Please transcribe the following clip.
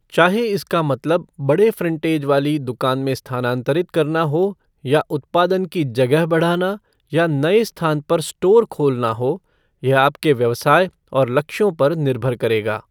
चाहे इसका मतलब बड़े फ़्रंटेज वाली दुकान में स्थानांतरित करना हो या उत्पादन की जगह बढ़ाना या नए स्थान पर स्टोर खोलना हो, यह आपके व्यवसाय और लक्ष्यों पर निर्भर करेगा।